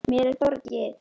Mér er borgið.